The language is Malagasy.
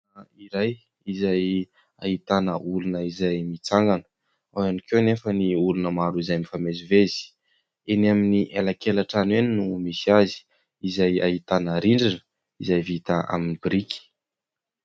Lalana iray izay ahitana olona izay mitsangana, ao ihany koa anefa ny olona maro izay mifamezivezy. Eny amin'ny alankelan-trano eny no misy azy, izay ahitana rindrina izay vita amin'ny biriky.